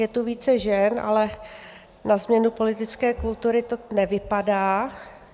Je tu více žen, ale na změnu politické kultury to nevypadá.